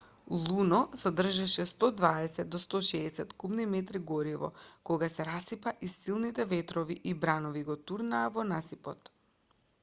луно содржеше 120-160 кубни метри гориво кога се расипа и силните ветрови и бранови го турнаа во насипот